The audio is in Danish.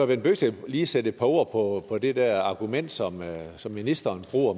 bent bøgsted lige sætte et par ord på på det der argument som som ministeren bruger